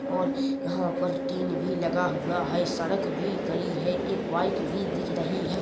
और यहाँ पर टीन भी लगा हुआ हैं सड़क भी कड़ी हैं एक बाइक भी दिख रही हैं।